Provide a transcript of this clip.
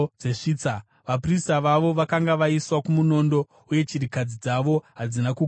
vaprista vavo vakanga vaiswa kumunondo, uye chirikadzi dzavo hadzina kugona kuchema.